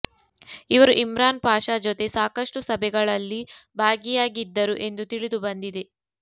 ಇವರು ಇಮ್ರಾನ್ ಪಾಷ ಜೊತೆ ಸಾಕಷ್ಟು ಸಭೆಗಳಲ್ಲಿ ಭಾಗಿಯಾಗಿದ್ದರು ಎಂದು ತಿಳಿದು ಬಂದಿದೆ